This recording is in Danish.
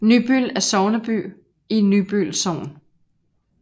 Nybøl er sogneby i Nybøl Sogn